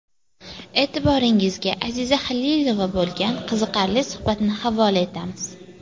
E’tiboringizga Aziza Xalilova bo‘lgan qiziqarli suhbatni havola etamiz.